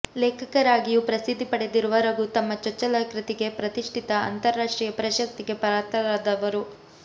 ಲೇಖಕರಾಗಿಯೂ ಪ್ರಸಿದ್ಧಿ ಪಡೆದಿರುವ ರಘು ತಮ್ಮ ಚೊಚ್ಚಲ ಕೃತಿಗೆ ಪ್ರತಿಷ್ಠಿತ ಅಂತರ್ ರಾಷ್ಟ್ರೀಯ ಪ್ರಶಸ್ತಿಗೆ ಪಾತ್ರರಾದವರು